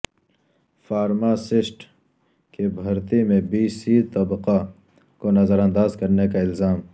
pharmacist کی بھرتی میں بی سی طبقہ کو نظرانداز کرنے کا الزام